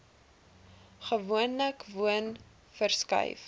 gewoonlik woon verskuif